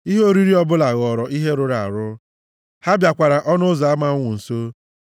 Ihe oriri ọbụla ghọọrọ ha ihe rụrụ arụ ha bịakwara ọnụ ụzọ ama ọnwụ nso.